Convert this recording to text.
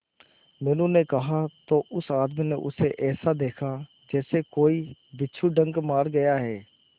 मीनू ने कहा तो उस आदमी ने उसे ऐसा देखा जैसे कि कोई बिच्छू डंक मार गया है